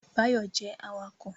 Báyọ̀ jẹ́ awakọ̀